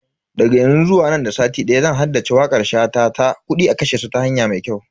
Daga yanzu zuwa nan da sati daya zan haddace wakar shata ta "Kudi a kashe su ta hanya mai kyau"